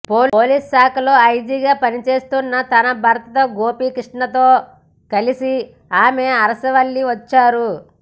police శాఖలో ఐజీగా పనిచేస్తున్న తన భర్త గోపీకృష్ణతో కలిసి ఆమె అరసవల్లి వచ్చారు